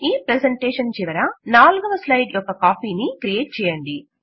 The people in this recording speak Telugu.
ఈ ప్రెజెంటేషన్ చివర నాల్గవ స్లైడ్ యొక్క కాపీ ను క్రియేట్ చేయండి